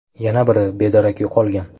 Yana biri bedarak yo‘qolgan.